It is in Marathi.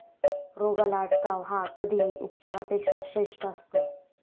रोगाला अटकाव हा कधीही उपचारापेक्षा श्रेष्ठ असतो.